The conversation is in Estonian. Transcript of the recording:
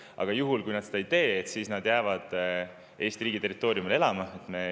Aga juhul, kui seda ei, ka siis nad jäävad Eesti riigi territooriumile elama.